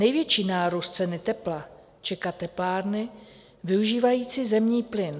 Největší nárůst ceny tepla čeká teplárny využívající zemní plyn.